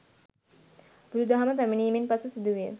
බුදුදහම පැමිණීමෙන් පසු සිදුවිය